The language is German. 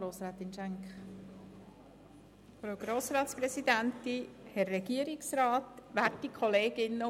Wir würden den Vorstoss als Postulat annehmen.